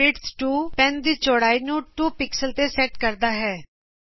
ਪੈੱਨਵਿੜਥ 2 pen ਦੀ ਚੌੜਾਈ ਨੂੰ 2 ਪਿਕਸਲ ਤੇ ਸੈਟ ਕਰਦਾ ਹੈ